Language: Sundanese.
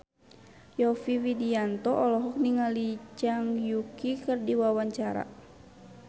Yovie Widianto olohok ningali Zhang Yuqi keur diwawancara